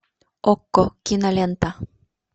окко кинолента